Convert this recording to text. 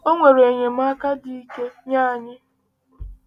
Ọ nwere enyemaka dị ike nye anyị